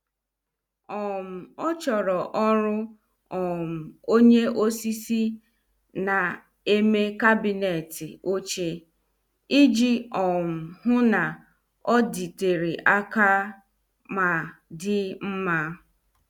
um Ọ chọrọ ọrụ um onye osisi na- eme kabinet oche, iji um hụ na-oditere aka ma dị mma.